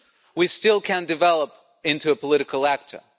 We still can develop into a political actor.